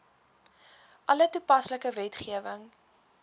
alle toepaslike wetgewing